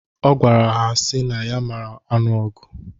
Ọ gwara ha sị na ya mara anụ ọgụ.